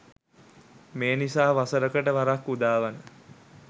මේ නිසා වසරකට වරක් උදාවන